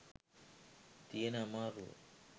තියෙන අමාරුව.